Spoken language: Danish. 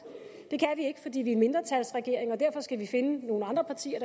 det kan vi ikke fordi vi er mindretalsregering og derfor skal vi finde nogle andre partier